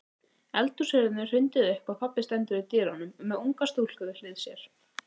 Eldhúshurðinni er hrundið upp og pabbi stendur í dyrunum með unga stúlku við hlið sér.